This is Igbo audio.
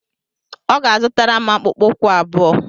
Ọ ga-azụtara m akpụkpọ ụkwụ abụọ.